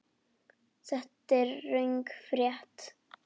Þetta er röng frétt.